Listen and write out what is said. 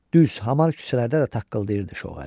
Düz, hamar küçələrdə də taqqıldayırdı şoğarib.